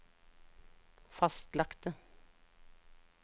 fastlagte